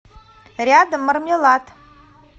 рядом мармелад